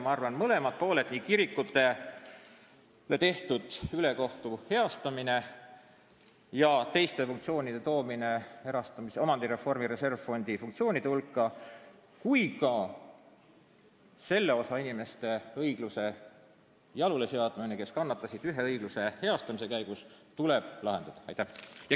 Ma arvan, et mõlemad – nii kirikutele tehtud ülekohtu heastamine ja teiste funktsioonide toomine omandireformi reservfondi funktsioonide hulka kui ka nende inimeste jaoks õigluse jalule seadmine, kes kannatasid ühe ebaõigluse heastamise käigus – tuleb ära teha.